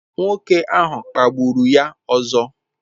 Nwoke ahụ kpagburu ya ọzọ.